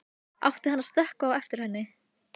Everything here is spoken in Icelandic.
Átti hann að stökkva á eftir henni?